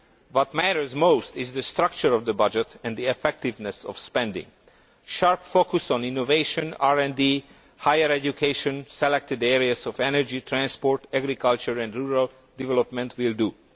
What matters most is the structure of the budget and the effectiveness of spending. Sharp focus on innovation, RD, higher education, selected areas of energy transport, agriculture and rural development will do.